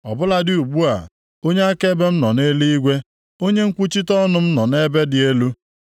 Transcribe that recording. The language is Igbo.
Ọ bụladị ugbu a, onye akaebe m nọ nʼeluigwe, onye nkwuchite ọnụ m nọ nʼebe dị elu.